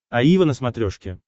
аива на смотрешке